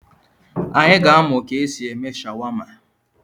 Anyị ga-amụ ka e si eme shawama.